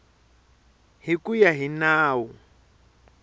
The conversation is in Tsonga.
hi ku ya hi nawu